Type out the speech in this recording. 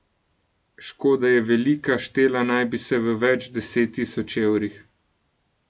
Škoda je velika, štela naj bi se v več deset tisoč evrih.